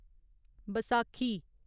Baisakhi